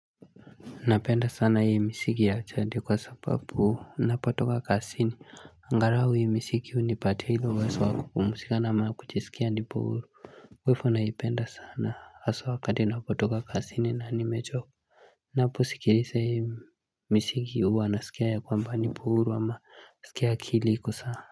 Napenda sana hii mziiki wa jadi kwa sababu ninapotoka kazini angalau huu mziki hunipatia hilo wazo wa kupumzika na ama kujisikia nipo huru kwa hivyo naipenda sana haswa wakati ninapotoka kazini na nimechoka Ninapo sikiliza hii miziki huwa nasikia ya kwamba nipo huru ama nasikia akili iko sawa.